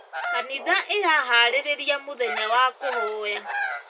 Kanitha ĩraharĩrĩria mũthenya wa kũhoya.